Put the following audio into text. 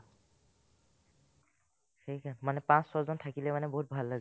মানে পাঁচ-ছজন থাকিলে মানে বহুত ভাল লাগে